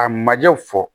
A majɛw fɔ